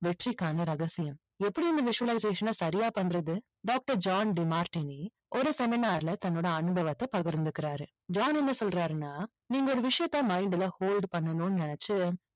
வெற்றிக்கான ரகசியம் எப்படி இந்த visualization ஐ சரியா பண்றது? doctor ஜான் டிமார்ட்டினி ஒரு seminar ல தன்னுடைய அனுபவத்தை பகிர்ந்துக்கிறாரு. ஜான் என்ன சொல்றாருன்னா நீங்க ஒரு விஷயத்தை mind ல hold பண்ணணும்னு நினைச்சு